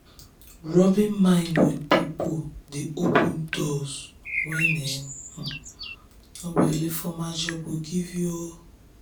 rubbing minds with people dey open doors wey um no be only formal job go give you. um